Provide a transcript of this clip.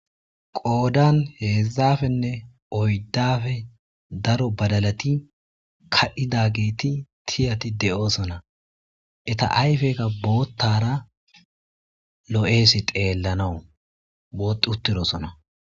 Qoydan hezhzhapene oyddape daro badalati ka'idageti tiyati de'osona eta ayifeka bottara lo'es xellanaw boxxuturosona.